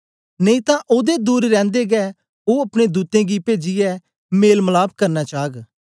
नेई तां ओदे दूर रैंदे गै ओ अपने दूतें गी पेजीयै मेल मलाप करना चाग